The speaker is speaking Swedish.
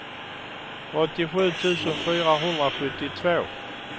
åttiosju tusen fyrahundrasjuttiotvå